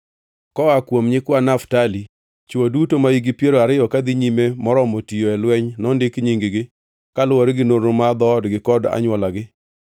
Koa kuom nyikwa Naftali: Chwo duto mahikgi piero ariyo kadhi nyime moromo tiyo e lweny nondik nying-gi, kaluwore gi nonro mar dhoodgi kod anywolagi.